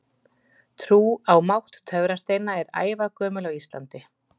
Trú á mátt töfrasteina er ævagömul á Íslandi.